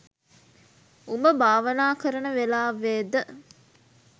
උඹ භාවනා කරන වෙලාවෙ ද